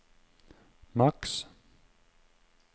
maks